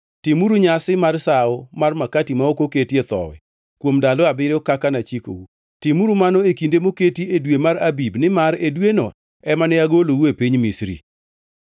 “Timuru nyasi mar Sawo mar makati ma ok oketie thowi kuom ndalo abiriyo kaka nachikou. Timuru mano e kinde moketi e dwe mar Abib, nimar e dweno ema ne agoloue e piny Misri.